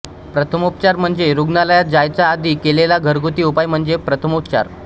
प्रथमोपचार म्हणजे रुग्णालयात जायच्या आधी केलेला घरगुती उपाय म्हणजे प्रथमोपचार